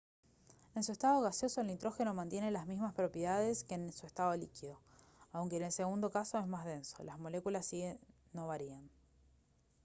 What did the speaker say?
en su estado gaseoso el nitrógeno mantiene las mismas propiedades que en su estado líquido aunque en el segundo caso es más denso las moléculas siguen no varían